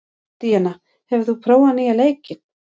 Díanna, hefur þú prófað nýja leikinn?